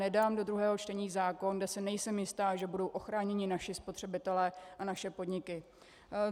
Nedám do druhého čtení zákon, kde si nejsem jistá, že budou ochráněni naši spotřebitelé a naše podniky.